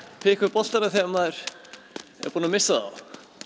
taka upp boltana þegar maður er búinn að missa þá